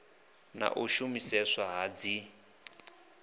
na u shumiseswa ha dzin